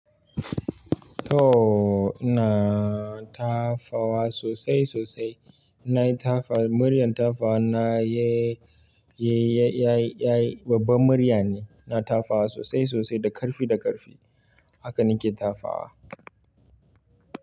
To ina tafawa sosai-sosai. Na yi tafa muryar tafa na yai yai yayi yayi. Babban murya ne. Na tafa sosai sosai da karfi da karfi. Haka nake tafa wa.